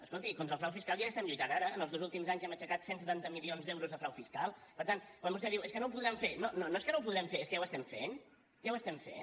escolti contra el frau fiscal ja hi estem lluitant ara en els dos últims anys hem aixecat cent i setanta milions d’euros de frau fiscal per tant quan vostè diu és que no ho podran fer no no és que no ho podrem fer és que ja ho estem fent ja ho estem fent